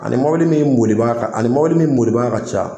Ani mɔbili min bolibaga ka ani mɔbili min bolibaga ka ca